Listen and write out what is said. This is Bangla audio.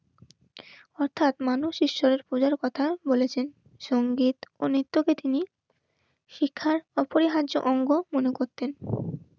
র্অর্থাৎ মানুষ ঈশ্বরের খোঁজার কথা বলেছেন. সংগীত ও নৃত্যকে তিনি শিক্ষার অপরিহার্য অঙ্গ মনে করতেন